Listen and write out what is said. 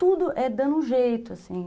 Tudo é dando um jeito, assim.